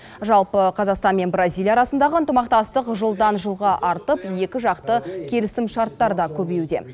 жалпы қазақстан мен бразилия арасындағы ынтымақтастық жылдан жылға артып екіжақты келісімшарттар да көбеюде